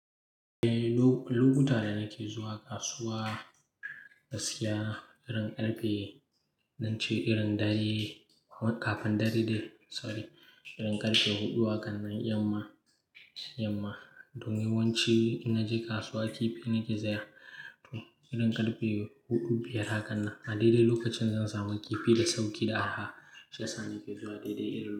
Eh, lokuta da nake zuwa kasuwa gaskiya irin karfe, naci irin dare kafin dare dai sorry, irin karfe huɗu hakannan yamma, yamma. Don yawanci ina je kasuwa kifi nake saya, to irin karfe huɗu, biyar hakannan. A daidai lokacin zan samu kifi da sauƙi da arha. Shiyasa nake zuwa daidai irin lokacin.